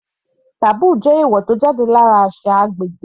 Taboo jẹ́ èèwò tó jáde lára àṣà agbègbè.